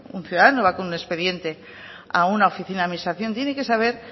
un ciudadano va con un expediente a una oficina de administración tiene que saber